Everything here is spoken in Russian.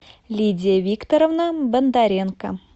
лидия викторовна бондаренко